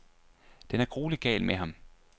Den er gruelig gal med ham.